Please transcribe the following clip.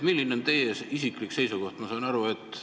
Milline on teie isiklik seisukoht?